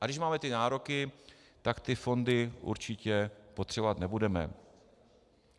A když máme ty nároky, tak ty fondy určitě potřebovat nebudeme.